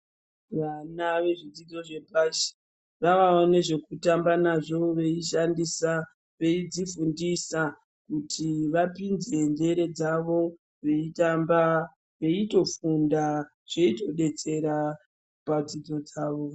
Vana vezvidzidzo zvepashi vawavo nezvekutamba nazvo veishandisa, veidzifundisa kuti vapinze nzero dzavo veitamba veitofunda, zveitodetsera padzidzo dzavo.